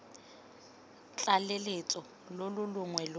tlaleletso lo lo longwe lo